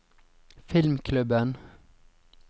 filmklubben